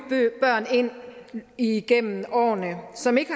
børn ind igennem årene som ikke